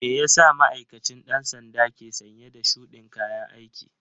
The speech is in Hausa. Meyasa ma'aikacin ɗan sandan ke sanye da shudin kayan aiki?